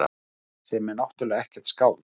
Sem er náttúrlega ekkert skáld.